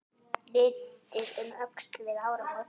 Litið um öxl við áramót.